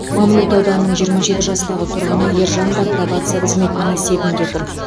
мамлют ауданының жиырма жеті жастағы тұрғыны ержан да пробация қызметінің есебінде тұр